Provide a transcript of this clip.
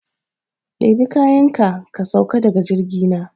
Ɗebi kayanka, ka sauka da ga jirgi na!